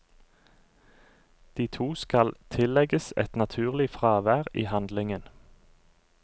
De to skal tillegges et naturlig fravær i handlingen.